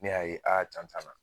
Ne y'a ye jan tan na